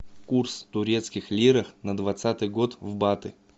курс турецких лирах на двадцатый год в баты